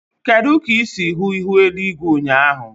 Kedu ka ị si hụ ihu eluigwe ụnyaahụ?